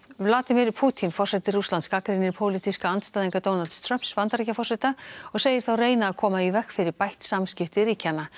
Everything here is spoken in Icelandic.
Vladimir Pútín forseti Rússlands gagnrýnir pólitíska andstæðinga Donalds Trumps Bandaríkjaforseta og segir þá reyna að koma í veg fyrir bætt samskipti ríkjanna